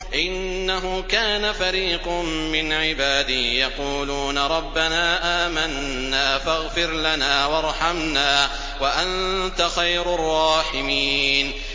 إِنَّهُ كَانَ فَرِيقٌ مِّنْ عِبَادِي يَقُولُونَ رَبَّنَا آمَنَّا فَاغْفِرْ لَنَا وَارْحَمْنَا وَأَنتَ خَيْرُ الرَّاحِمِينَ